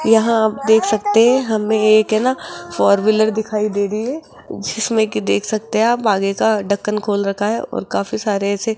यहां आप देख सकते हैं हमें एक है ना फोर व्हीलर दिखाई दे रही है जिसमें कि देख सकते है आप आगे का ढक्कन खोल रखा है और काफी सारे ऐसे--